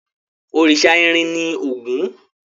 Òrìṣà irin ni Ògún.